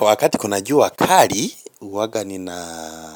Wakati kuna jua kali, huanga nina